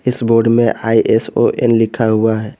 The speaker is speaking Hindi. इस बोर्ड पर आई एस ओ एन लिखा हुआ है।